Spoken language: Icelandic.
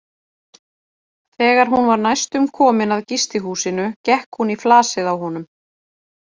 Þegar hún var næstum komin að gistihúsinu gekk hún í flasið á honum.